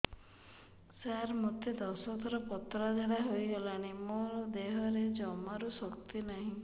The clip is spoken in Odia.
ସାର ମୋତେ ଦଶ ଥର ପତଳା ଝାଡା ହେଇଗଲାଣି ମୋ ଦେହରେ ଜମାରୁ ଶକ୍ତି ନାହିଁ